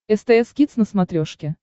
стс кидс на смотрешке